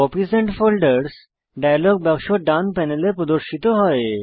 copies and folders dialog বাক্স ডান panel প্রদর্শিত হয়